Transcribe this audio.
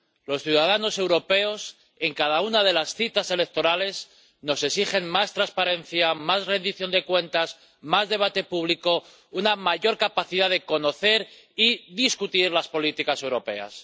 Los ciudadanos europeos, en cada una de las citas electorales, nos exigen más transparencia, más rendición de cuentas, más debate público, una mayor capacidad de conocer y discutir las políticas europeas.